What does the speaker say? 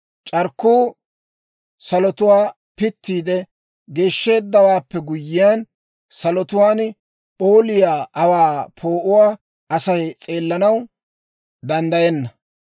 C'arkkuu salotuwaa pittiide geeshsheeddawaappe guyyiyaan, salotuwaan p'ooliyaa aawaa poo'uwaa Asay s'eellanaw danddayenna.